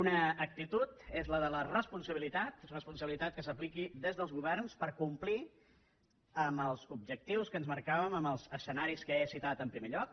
una actitud és la de la responsabilitat responsabilitat que s’apliqui des dels governs per complir els objectius que ens marcàvem amb els escenaris que he citat en primer lloc